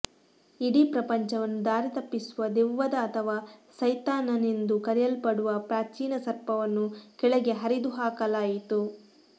ಇಡೀ ಪ್ರಪಂಚವನ್ನು ದಾರಿತಪ್ಪಿಸುವ ದೆವ್ವದ ಅಥವಾ ಸೈತಾನನೆಂದು ಕರೆಯಲ್ಪಡುವ ಪ್ರಾಚೀನ ಸರ್ಪವನ್ನು ಕೆಳಗೆ ಹರಿದುಹಾಕಲಾಯಿತು